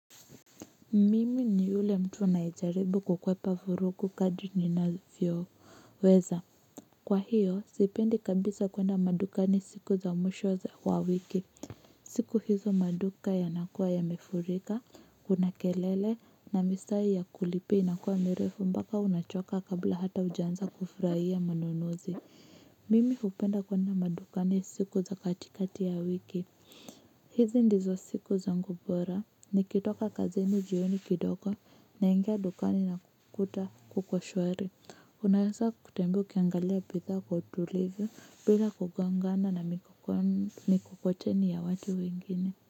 Mimi ni ule mtu nayejaribu kukwepa furuku kadri ninafyoweza. Kwa hiyo sipendi kabisa kuenda madukani siku za mwisho za wa wiki. Siku hizo maduka yanakuwa yamefurika kuna kelele na misarari ya kulipia inakuwa mirefu mbaka unachoka kabla hata hujaanza kufurahia manunuzi. Mimi hupenda kwenda madukani siku za katikati ya wiki. Hizi ndizo siku zangu bora, nikitoka kazini jioni kidogo naingia dukani na kukuta kuko shwari, unawesa kutembea ukiangalia pithaa kwa utulivu bila kugongana na mikokoteni ya watu wengine.